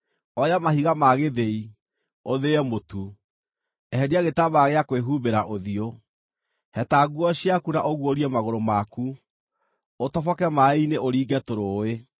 Oya mahiga ma gĩthĩi, ũthĩe mũtu; eheria gĩtambaya gĩa kwĩhumbĩra ũthiũ. Heta nguo ciaku na ũguũrie magũrũ maku, ũtoboke maaĩ-inĩ ũringe tũrũũĩ.